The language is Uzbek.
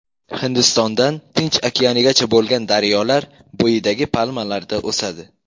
Hindistondan Tinch okeanigacha bo‘lgan daryolar bo‘yidagi palmalarda o‘sadi.